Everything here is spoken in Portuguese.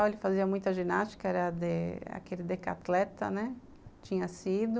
Ele fazia muita ginástica, era aquele decathleta, né, tinha sido.